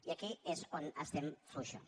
i aquí és on estem fluixos